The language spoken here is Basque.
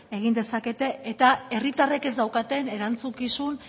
egin dezakete eta herritarrek ez daukaten erantzukizun